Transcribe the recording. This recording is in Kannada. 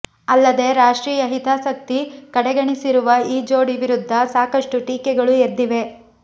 ಅಲ್ಲದೆ ರಾಷ್ಟ್ರೀಂುು ಹಿತಾಸಕ್ತಿ ಕಡೆಗಣಿಸಿರುವ ಈ ಜೋಡಿ ವಿರುದ್ಧ ಸಾಕಷ್ಟು ಟೀಕೆಗಳು ಎದ್ದಿವೆ